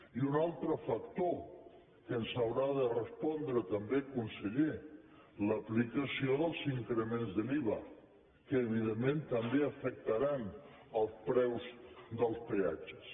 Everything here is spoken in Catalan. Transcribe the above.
i un altre factor que ens haurà de respondre també conseller l’aplicació dels increments de l’iva que evidentment també afectaran els preus dels peatges